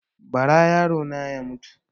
Ba ra yaro na ya mutu